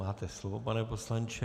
Máte slovo, pane poslanče.